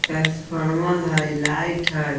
Transformer है light है।